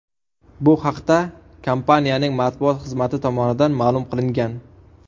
Bu haqda kompaniyaning matbuot xizmati tomonidan ma’lum qilingan.